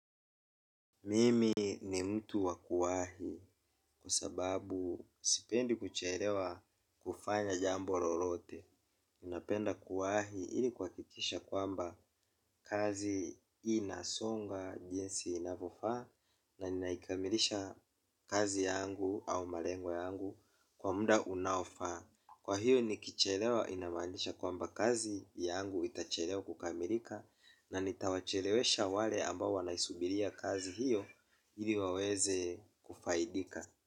Mimi ni mtu wa kuwahi kwa sababu sipendi kuchelewa kufanya jambo lolote. Ninapenda kuwahi ili kuhakikisha kwamba kazi inasonga jinsi inavyofaa na ninaikamilisha kazi yangu au malengo yangu kwa muda unaofaa. Kwa hiyo nikichelewa inamaanisha kwamba kazi yangu itachelewa kukamilika na nitawachelewesha wale ambao wanaisubiria kazi hiyo ili waweze kufaidika.